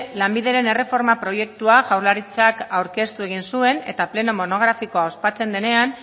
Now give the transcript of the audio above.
lanbideren erreforma proiektua jaurlaritzak aurkeztu egin zuen eta pleno monografikoa ospatzen denean